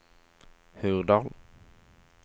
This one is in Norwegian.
Hurdal